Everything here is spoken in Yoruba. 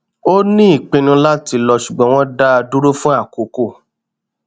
ó ní ìpinnu láti lọ ṣùgbọn wọn dá a dúró fún àkókò